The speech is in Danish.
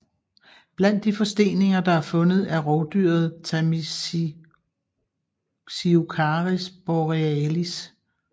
Blandt de forsteninger der er fundet er rovdyret Tamisiocaris borealis